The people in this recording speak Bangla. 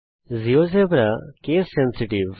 GeoGebra case sensitive